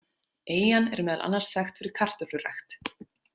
Eyjan er meðal annars þekkt fyrir kartöflurækt.